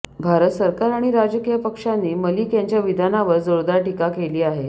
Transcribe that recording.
भारत सरकार आणि राजकीय पक्षांनी मलिक यांच्या विधानावर जोरदार टीका केली आहे